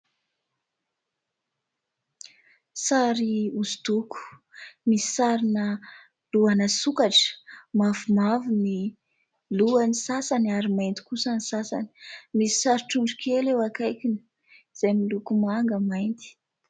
Sary hosodoko misy sarina lohana sokatra; mavomavo ny lohan'ny sasany ary mainty kosa ny sasany; misy sary trondrokely eo akaikiny izay miloko manga mainty.